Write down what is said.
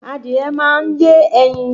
Adìrẹ máa ń yé ẹyin